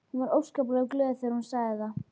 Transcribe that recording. Hún var óskaplega glöð þegar hún sagði það.